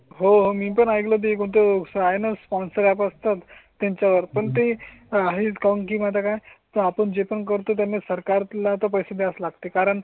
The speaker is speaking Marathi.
हो मी पण ऐकलं ते कोणते आहे ना? स्पॉन्सर्स तात त्यांच्या वर पण ते आहे डिस्काउंट किंवा काय तर आपण जे पण करतो त्यांनी सरकार ला पैसे द्यावेच लागते कारण.